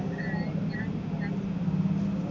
ഞാൻ ഞാൻ